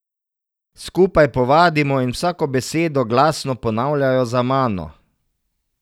Skupaj povadimo in vsako besedo glasno ponavljajo za mano.